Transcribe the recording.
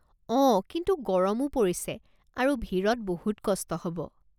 অঁ, কিন্তু গৰমো পৰিছে আৰু ভিৰত বহুত কষ্ট হ'ব।